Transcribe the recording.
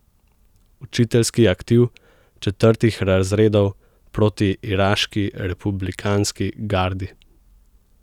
Učiteljski aktiv četrtih razredov proti iraški republikanski gardi!